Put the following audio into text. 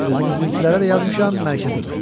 Özümüzünkilərə də yazmışam, mərkəzə də.